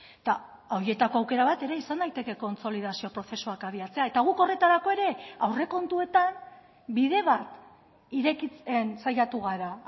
eta horietako aukera bat ere izan daiteke kontsolidazio prozesuak abiatzea eta guk horretarako ere aurrekontuetan bide bat irekitzen saiatu gara